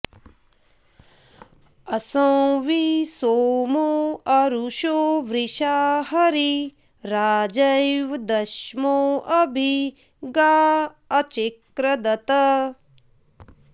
असा॑वि॒ सोमो॑ अरु॒षो वृषा॒ हरी॒ राजे॑व द॒स्मो अ॒भि गा अ॑चिक्रदत्